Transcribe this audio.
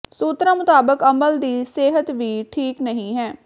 ਸੂਤਰਾਂ ਮੁਤਾਬਕ ਅੱਮਲ ਦੀ ਸਿਹਤ ਵੀ ਠੀਕ ਨਹੀਂ ਹੈ